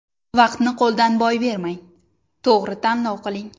Vaqtni qo‘ldan boy bermang, to‘gri tanlov qiling!